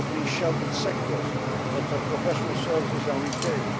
Opening sheltered sectors, such as professional services and retail.